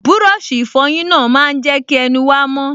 Búrọ̀sì ìfọyín náà máa n jẹ́ kí ẹnu wa mọ́